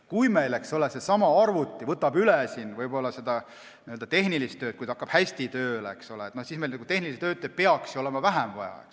Kui arvuti võtab tehnilist tööd üle ja kui see hakkab hästi tööle, siis tehnilisi töötajaid peaks ju vähem vaja olema.